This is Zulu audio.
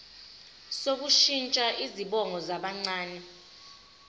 sokushintsha izibongo zabancane